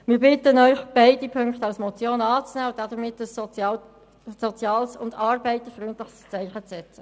Wir bitten Sie, beide Ziffern als Motion anzunehmen und damit ein soziales und arbeiterfreundliches Zeichen zu setzen.